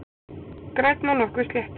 Grænn og nokkuð sléttur